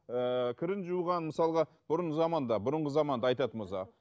ыыы кірін жуған мысалға бұрынғы заманда бұрынғы заманды айтатын болсақ